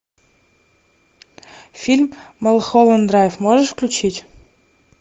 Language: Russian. фильм малхолланд драйв можешь включить